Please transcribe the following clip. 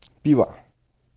пиво